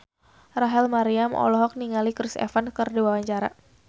Rachel Maryam olohok ningali Chris Evans keur diwawancara